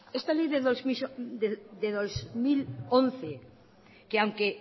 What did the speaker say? esta ley de dos mil once que aunque